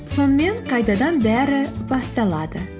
сонымен қайтадан бәрі басталады